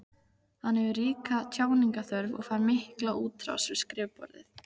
Hann hefur ríka tjáningarþörf og fær mikla útrás við skrifborðið.